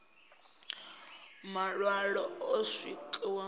maṋwalo o swikiswaho u ya